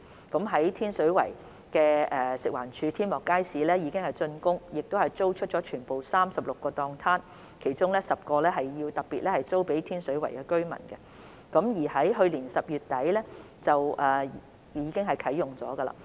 在天水圍的食物環境衞生署天幕街市已經竣工，並已租出全部36個攤檔，其中10個特別租予天水圍居民，街市亦已於去年12月底啟用。